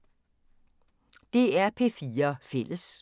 DR P4 Fælles